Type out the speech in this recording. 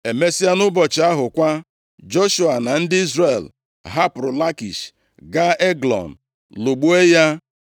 Emesịa, nʼụbọchị ahụ kwa, Joshua na ndị Izrel hapụrụ Lakish gaa Eglọn lụgbuo ya.